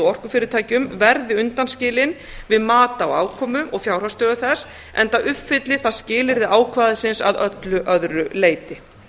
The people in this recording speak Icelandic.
orkufyrirtækjum verði undanskilin við mat á afkomu og fjárhagsstöðu þess enda uppfylli það skilyrði ákvæðisins að öllu öðru leyti